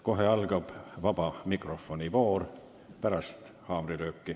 Kohe pärast haamrilööki algab vaba mikrofoni voor.